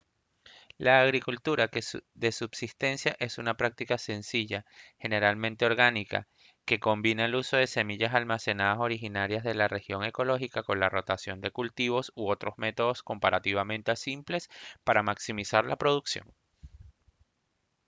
la agricultura de subsistencia es una práctica sencilla generalmente orgánica que combina el uso de semillas almacenadas originarias de la región ecológica con la rotación de cultivos u otros métodos comparativamente simples para maximizar la producción